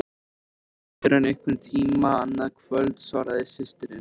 Ekki fyrr en einhvern tíma annað kvöld, svaraði systirin.